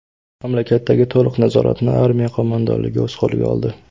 Mamlakatdagi to‘liq nazoratni Armiya qo‘mondonligi o‘z qo‘liga oldi.